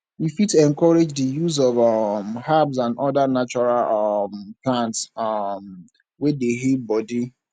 we fit encourage di use of um herbs and oda natural um plants um wey dey heal body